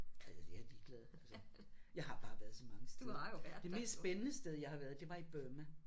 Kedeligt jeg er ligeglad altså. Jeg har bare været så mange steder. Det mest spændende sted jeg har været det var i Burma